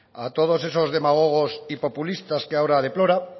a todos esos demagogos y populistas que ahora deplora